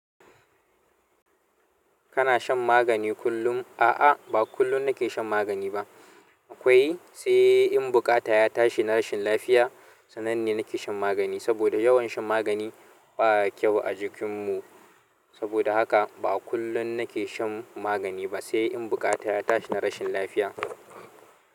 Kana shan magani kullum? A'a, ba kullun nake shan magani ba. Akwai sai in buƙata ya tashi na rashin lafiya sannan ne nake shan magani. Saboda yawan shan magani baya kyau a jikinmu. Saboda haka ba kullun nake shan magani ba sai in buƙata ya tashi na rashin lafiya.